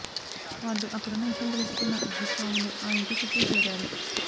వాళ్లు అక్కడున్న విషయం తెలుసుకున్న భూస్వాములు ఆ ఇంటి చుట్టూ చేరారు